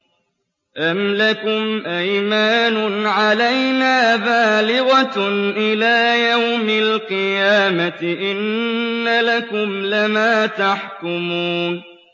أَمْ لَكُمْ أَيْمَانٌ عَلَيْنَا بَالِغَةٌ إِلَىٰ يَوْمِ الْقِيَامَةِ ۙ إِنَّ لَكُمْ لَمَا تَحْكُمُونَ